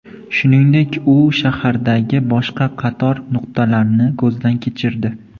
Shuningdek, u shahardagi boshqa qator nuqtalarni ko‘zdan kechirdi.